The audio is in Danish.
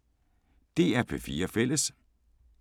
DR P4 Fælles